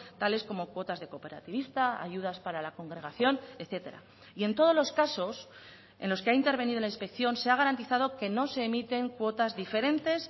tales como cuotas de cooperativista ayudas para la congregación etcétera y en todos los casos en los que ha intervenido la inspección se ha garantizado que no se emiten cuotas diferentes